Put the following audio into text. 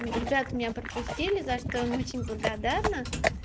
ребята меня пропустили за что им очень благодарна